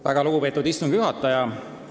Väga lugupeetud istungi juhataja!